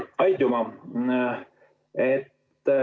Aitüma!